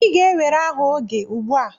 Ị ga-ewere aha oge ugbua.